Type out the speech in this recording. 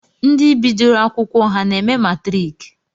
Ndi bdioro akwụkwọ ha na-eme matrik?